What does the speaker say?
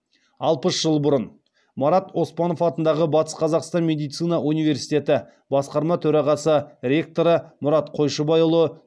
алпыс жыл бұрын марат оспанов атындағы батыс қазақстан медицина университеті басқарма төрағасы ректоры мұрат қойшыбайұлы